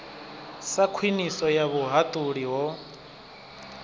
sa khwiniso ya vhuhaṱuli ho